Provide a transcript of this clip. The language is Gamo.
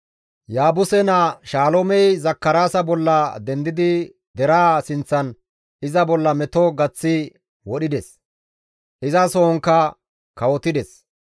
Yaabuse naa Shaloomey Zakaraasa bolla dendidi deraa sinththan iza bolla meto gaththi wodhides; iza sohonkka kawotides.